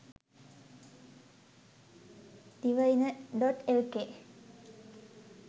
divaina.lk